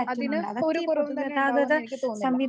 അതിന് ഒരു കുറവും തന്നെ ഉണ്ടാകുമെന്ന് എനിക്ക് തോന്നുന്നില്ല.